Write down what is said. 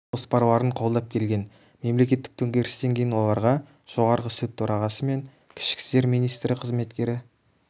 жоспарларын қолдап келген мемлекеттік төңкерістен кейін оларға жоғарғы сот төрағасы мен ішкі істер министрі қызметтері